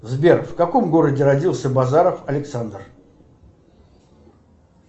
сбер в каком городе родился базаров александр